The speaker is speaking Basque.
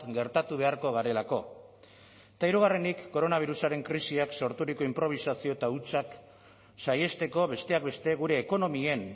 gertatu beharko garelako eta hirugarrenik koronabirusaren krisiak sorturiko inprobisazio eta hutsak saihesteko besteak beste gure ekonomien